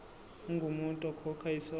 ungumuntu okhokha isondlo